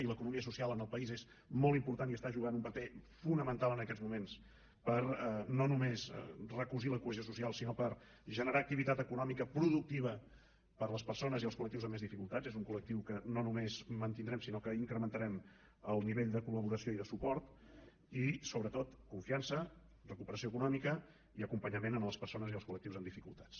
i l’economia social en el país és molt important i està jugant un paper fonamental en aquests moments per no només recosir la cohesió social sinó per generar activitat econòmica productiva per a les persones i els collectius amb més dificultats és un colnomés mantindrem sinó que incrementarem el nivell de col·laboració i de suport i sobretot confiança recuperació econòmica i acompanyament a les persones i els col·lectius amb dificultats